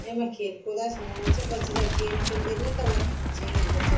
येमा खेल कूदा क सामान च बच्चा जब गेम खिल्दी ना तब वाख खन चएंद बच्चा थे।